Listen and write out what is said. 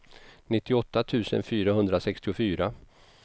nittioåtta tusen fyrahundrasextiofyra